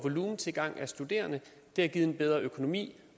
tilgang af studerende det har givet en bedre økonomi